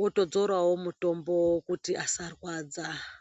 wotodzorawo mutombo kuti asarwadza.